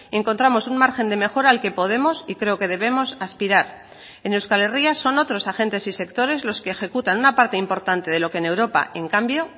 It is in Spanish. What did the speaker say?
encontramos un margen de mejora al que podemos y creo que debemos aspirar en euskal herria son otros agentes y sectores los que ejecutan una parte importante de lo que en europa en cambio